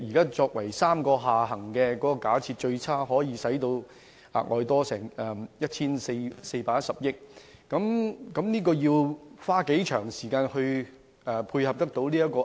現時3個下行處境的假設，最差可以導致負債 1,410 億元，這筆款項要花多長時間來償還？